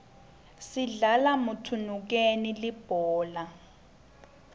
sidlala mthunukeni libhola